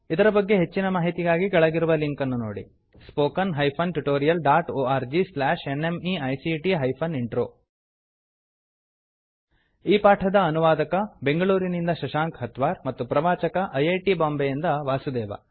ಇದರ ಬಗ್ಗೆ ಹೆಚ್ಚಿನ ಮಾಹಿತಿಗಾಗಿ ಕೆಳಗಿರುವ ಲಿಂಕ್ ಅನ್ನು ನೋಡಿ spoken hyphen tutorial dot org slash NMEICT hyphen intro ಈ ಪಾಠದ ಅನುವಾದಕ ಬೆಂಗಳೂರಿನಿಂದ ಶಶಾಂಕ ಹತ್ವಾರ್ ಮತ್ತು ಪ್ರವಾಚಕ ಐ ಐ ಟಿ ಬಾಂಬೆಯಿಂದ ವಾಸುದೇವ